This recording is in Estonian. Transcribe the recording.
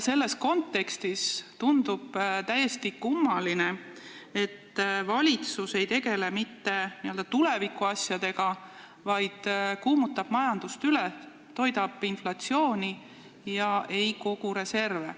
Selles kontekstis tundub täiesti kummaline, et valitsus ei tegele mitte tulevikuasjadega, vaid kuumutab majandust üle, toidab inflatsiooni ega kogu reserve.